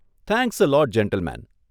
Thanks a lot gentleman!